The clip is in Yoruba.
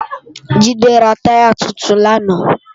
Jide rá tàyá tútún làná